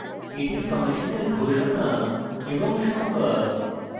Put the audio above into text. এটি ফাংশনের ঘোষণা এবং সংজ্ঞা